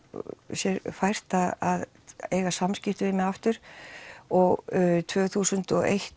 sér fært að eiga samskipti við mig aftur og tvö þúsund og eitt